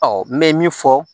n bɛ min fɔ